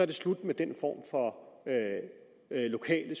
det slut med den form for lokale